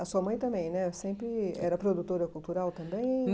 A sua mãe também né sempre era produtora cultural também?